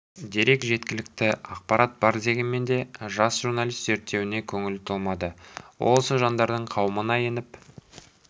дерек жеткілікті ақпарат бар дегенмен де жас журналист зерттеуіне көңілі толмады ол осы жандардың қауымына еніп